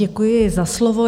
Děkuji za slovo.